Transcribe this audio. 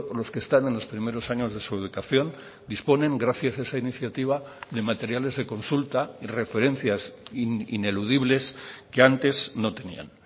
los que están en los primeros años de su educación disponen gracias a esa iniciativa de materiales de consulta referencias ineludibles que antes no tenían